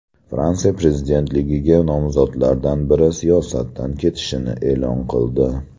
Fransiya prezidentligiga nomzodlardan biri siyosatdan ketishini e’lon qildi.